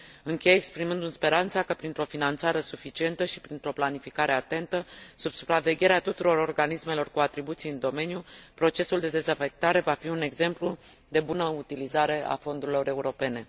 Închei exprimându mi speranța că printr o finanțare suficientă și printr o planificare atentă, sub supravegherea tuturor organismelor cu atribuții în domeniu, procesul de dezafectare va fi un exemplu de bună utilizare a fondurilor europene.